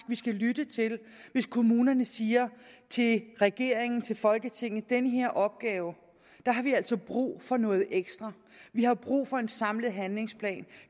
vi skal lytte hvis kommunerne siger til regeringen til folketinget den her opgave har vi altså brug for noget ekstra vi har brug for en samlet handlingsplan